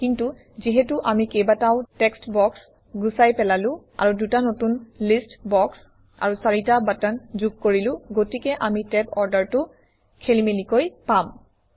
কিন্তু যিহেতু আমি কেইবাটাও টেক্সট্ বক্স গুচাই পেলালো আৰু দুটা নতুন লিষ্ট বক্স আৰু চাৰিটা বাটন যোগ কৰিলো গতিকে আমি টেব অৰ্ডাৰটো খেলিমেলিকৈ পাম